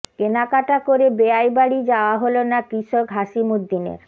কেনাকাটা করে বেয়াই বাড়ি যাওয়া হল না কৃষক হাসিমুদ্দিনের